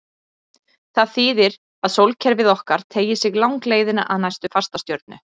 Það þýðir að sólkerfið okkar teygir sig langleiðina að næstu fastastjörnu.